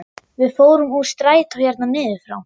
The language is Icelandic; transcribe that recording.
Við fórum úr strætó hérna niður frá!